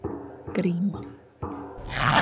Gríma